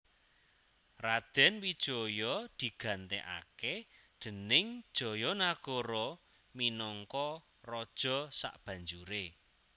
Radèn Wijaya digantèkaké déning Jayanagara minangka raja sabanjuré